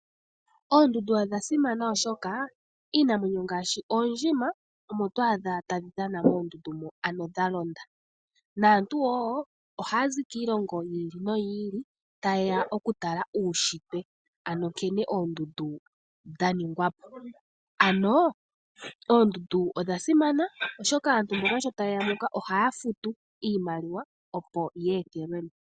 Oondundu odha simana oshoka iinamwenyo ngaashi: oondjima omo to adha tadhi dhana moondundu mo anho dha londa, naantu wo ohaya zi kiilongo yi ili noyi ili tayeya okutala uushitwe, anho nkene oondundu dha ningwa po. Anho oondundu odha simana oshoka aantu mboka sho tayeya muka ohaya futu iimaliwa opo ya ethelwe mo.